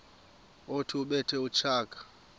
othi ubethe utshaka